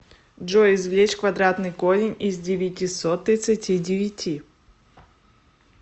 джой извлечь квадратный корень из девятисот тридцати девяти